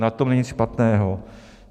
Na tom není nic špatného.